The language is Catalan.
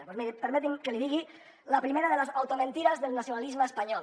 doncs miri permeti’m que li digui la primera de les automentides del nacionalisme espanyol